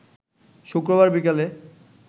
শুক্রবার বিকালে